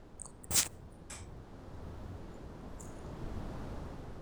iyata mpesa peyie ilakie kulo olan amu mikiyieu cash